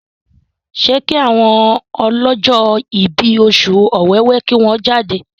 ṣe ki àwọn ọlọjọ ibí Oṣù Ọ̀wẹwẹ kí wón jáde?